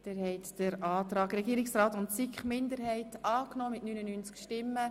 Sie haben dem Antrag von Regierungsrat und SiK-Mehrheit den Vorzug gegeben.